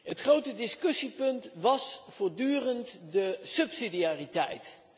Het grote discussiepunt was voortdurend de subsidiariteit.